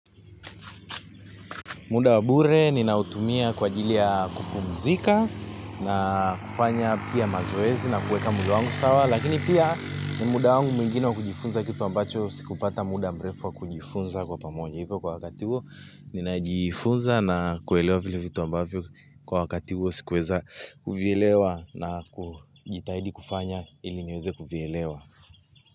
Muda wa bure, ninautumia kwa ajili ya kupumzika na kufanya pia mazoezi na kueka mwili wangu sawa. Lakini pia ni muda wangu mwingine wa kujifunza kitu ambacho sikupata muda mrefu wa kujifunza kwa pamoja hivyo kwa wakati huo, ninajifunza na kuelewa vile vitu ambavyo kwa wakati huo, sikuweza kuvielewa na kujitahidi kufanya ili niweze kuvyelewa.